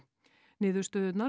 niðurstöðurnar